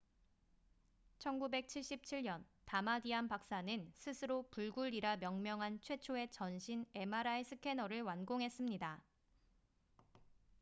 "1977년 다마디안 박사는 스스로 "불굴""이라 명명한 최초의 "전신" mri 스캐너를 완공했습니다.